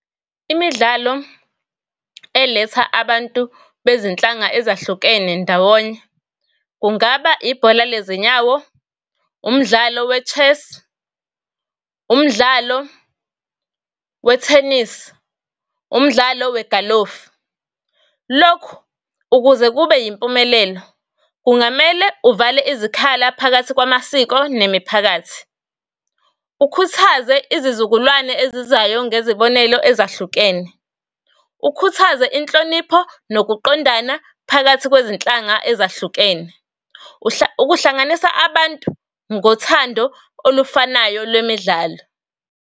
Imidlalo eletha abantu bezinhlanga ezahlukene ndawonye, kungaba ibhola lezinyawo, umdlalo we-chess, umdlalo we-thenisi, umdlalo we-galofu. Lokhu, ukuze kube impumelelo kungamele uvale izikhala phakathi kwamasiko nemiphakathi. Ukhuthaze izizukulwane ezizayo ngezibonelo ezahlukene. Ukhuthaze inhlonipho nokuqondana phakathi kwezinhlanga ezahlukene. Ukuhlanganisa abantu ngothando olufanayo lwemidlalo.